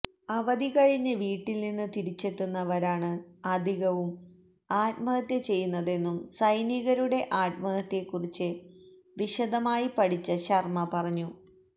അവധി കഴിഞ്ഞ് വീട്ടില് നിന്ന് തിരിച്ചെത്തുന്നവരാണ് അധികവും ആത്മഹത്യ ചെയ്യുന്നതെന്നും സൈനികരുടെ ആത്മഹത്യയെക്കുറിച്ച് വിശദമായി പഠിച്ച ശര്മ്മ പറഞ്ഞു